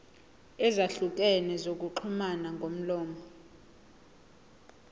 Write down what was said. ezahlukene zokuxhumana ngomlomo